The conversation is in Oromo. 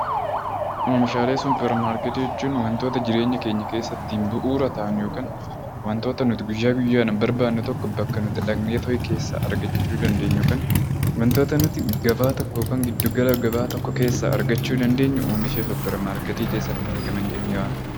Oomishaalee Suuparmarketii jechuun wantoota jireenya keenya keessatti bu'uura ta'an yookaan wantoota nuti guyyaa guyyaa dhaan barbaadnu tokko bakka nuti dhaqnee tooyi keessaa argachuu dandeenyu yookaan wantoota nuti gabaa tokko yookaan giddugala gabaa tokko keessaa argachuu dandeenyu oomisha Suuparmarketii keessatti argaman jennee waamuu dandeenya.